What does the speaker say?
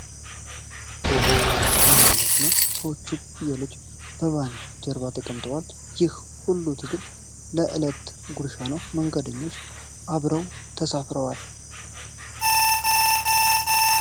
ኦሆ! ምን አይነት ሁኔታ ነው! ሰዎችና ፍየሎች በቫኑ ጀርባ ተጠቅጥቀዋል! ይህ ሁሉ ትግል ለዕለት ጉርሻ ነው፤ መንገደኞቹም አብረው ተሳፍረዋል ።